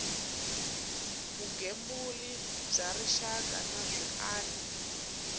vugembuli bya rixaka na swiana